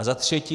A za třetí.